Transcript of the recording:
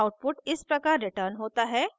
output इस प्रकार return होता है